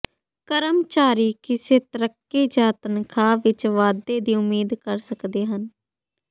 ਕਰਮਚਾਰੀ ਕਿਸੇ ਤਰੱਕੀ ਜਾਂ ਤਨਖਾਹ ਵਿੱਚ ਵਾਧੇ ਦੀ ਉਮੀਦ ਕਰ ਸਕਦੇ ਹਨ